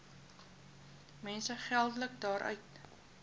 mense geldelik daaruit